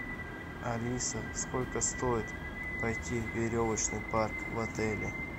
алиса сколько стоит пойти в веревочный парк в отеле